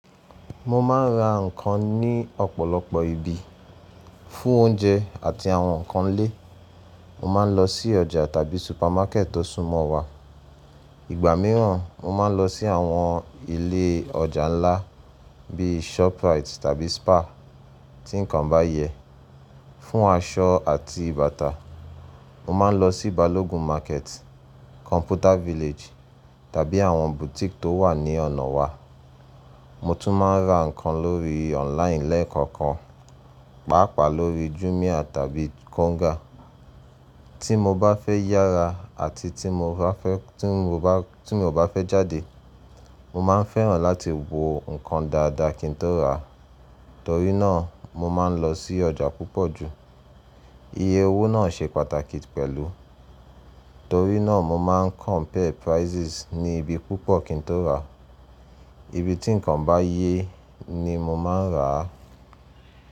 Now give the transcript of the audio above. Mo máa ń ra ǹkan ní ọ̀pọ̀lọpọ̀ ibi. Fún oúnjẹ àti àwọn ǹkan ilé, mó máa ń lọ sí ọjà tàbí supermarket tó súnmọ́ wa. Ìgbà mìíràn, mó máa ń lọ sí àwọn ilé ọjà ńlá bí Shoprite tàbí Spar tí ǹkan bá yẹ. Fún aṣọ àti bàtà, mó máa ń lọ sí Balogun Market, Computer Village tàbí àwọn boutique tó wà ní ọ̀nà wa. Mó tún máa ń ra ǹkan lórí online lẹ́ẹ̀kọ̀kan, pàápàá lórí Jumia tàbí Konga. Tí mó bá fẹ́ yára àti tí mó bá fẹ́, tí mó bá, tí mí ò bá fẹ́ jáde, mo máa ń fẹ́ràn láti wo ǹkan dáadáa kí n tó rà á, torí náà mó máa ń lọ sí ọjà púpọ̀ ju. Iye owó náà ṣe pàtàkì pẹ̀lú, torí náà mo máa ń compare prices ní ibi púpọ̀ kí n tó rà á. Ibi tí ǹkan bá yẹ ni mo máa ń rà á.